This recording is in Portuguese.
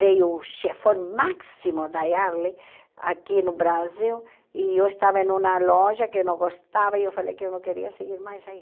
Veio o chefão máximo da Yardley aqui no Brasil e eu estava em uma loja que eu não gostava e eu falei que eu não queria seguir mais aí.